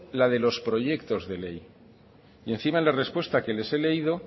la de los proyectos de ley y encima en la respuesta que les he leído